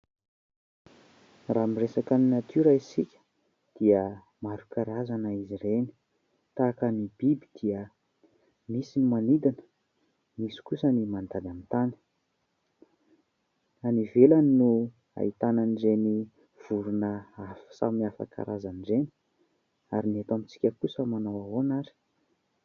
Raha miresaka ny natiora isika dia maro karazana izy ireny. Tahaka ny biby dia misy ny manidina, misy kosa ny mandady amin'ny tany. Any ivelany no ahitana an'ireny vorona samy hafa karazana ireny. Ary ny eto amintsika kosa manao ahoana ary ?